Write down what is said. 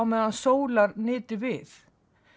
meðan sólar nyti við